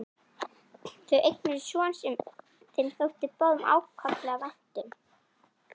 Þau eignuðust son sem þeim þótti báðum ákaflega vænt um.